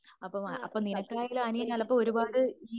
ആ സത്യത്തിൽ എനിക്ക് ഏറ്റവും കൂടുതൽ